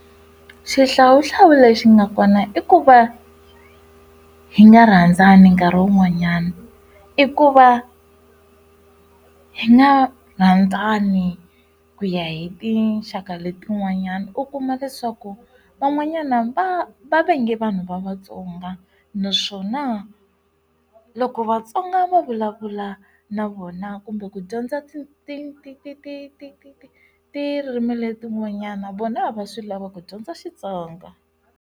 Xihlawuhlawu lexi nga kona i ku va hi nga rhandzani nkarhi wun'wanyana, i ku va hi nga rhandzani ku ya hi tinxaka letin'wanyani. U kuma leswaku van'wanyana va va vange vanhu va vatsonga naswona loko vatsonga va vulavula na vona kumbe ku dyondza tirimi letin'wanyana vona a va swi lava ku dyondza xitsonga.